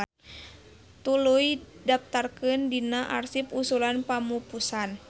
Tuluy daptarkeun dina arsip usulan pamupusan.